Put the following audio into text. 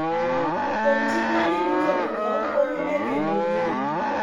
Kuom ting' ma ji duto nigo konyo e geng'o lweny